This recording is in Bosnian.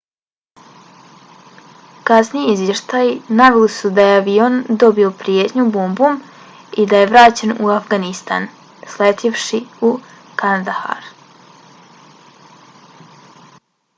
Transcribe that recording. kasniji izvještaji naveli su da je avion dobio prijetnju bombom i da je vraćen u afganistan sletjevši u kandahar